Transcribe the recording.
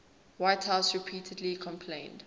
whitehouse repeatedly complained